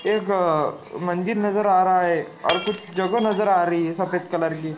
एकअ मंदिर नजर आ रहा है और कुछ जगह नजर आ रही है सफेद कलर की।